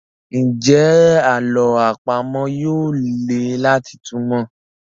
Njé àlọ́ àpamọ̀ yí yóò lẹ láti túmọ?